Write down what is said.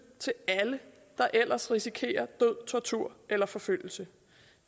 til alle der ellers risikerer død tortur eller forfølgelse